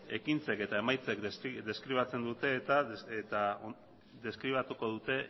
ekintzek eta emaitzek deskribatzen dute eta deskribatuko dute